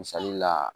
Misali la